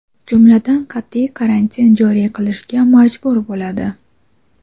jumladan qat’iy karantin joriy qilishga majbur bo‘ladi.